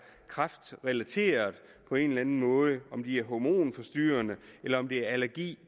kræftrelaterede på en eller anden måde om de er hormonforstyrrende eller om det er allergi